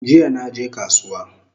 Jiya naje kasuwa